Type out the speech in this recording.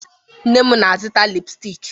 Nne m na-azụta lipụstik.